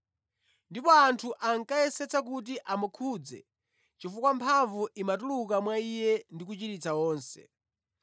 ndipo anthu ankayesetsa kuti amukhudze chifukwa mphamvu imatuluka mwa Iye ndi kuchiritsa onse.